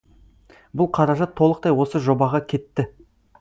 бұл қаражат толықтай осы жобаға кетті